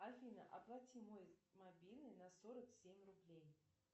афина оплати мой мобильный на сорок семь рублей